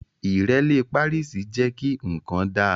Ìrẹ́lẹ́ párìsì jẹ́ kí nǹkan dá